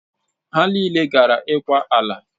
Ha niile gara ịkwa ala.